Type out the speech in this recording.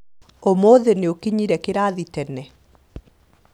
ũmũthĩ nĩũkinyire kĩrathi tene